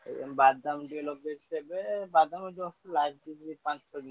ବାଦାମ ଟିକେ ଲଗେଇଛି ଏବେ। ବାଦାମ just ଲାଗିଛି ପାଞ୍ଚ ଛଅ ଦିନ ହେଲା।